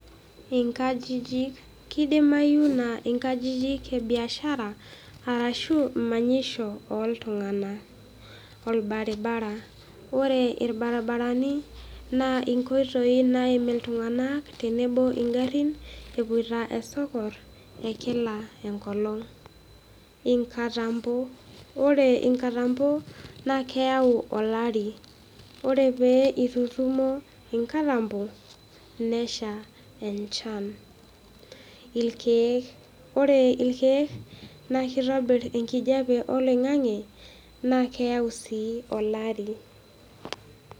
Inkajijik, keidimayu naa iinkajijik e biashara arashu manyisho ooltung'ana, orbaribara, ore irbaribarani naa inkoitoi naim ltung'anak tenebo oo ing'arrin epoito isoko ekila nkolong',inkatambo, ore inkatambo naa keyau olari, ore pee eitutumo inkatambo nesha enchan, irkeek, ore irkeek naa keitobirr inkejepe oloing'ang'e na keyau sii olari.